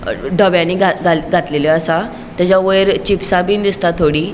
दोघायनी घा घा घातलेलो असा तचे वयर चिप्स बिन दिसता थोड़ी --